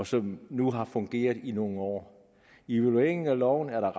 som nu har fungeret i nogle år i evalueringen af loven er der